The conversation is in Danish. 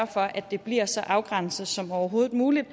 for at det bliver så afgrænset som overhovedet muligt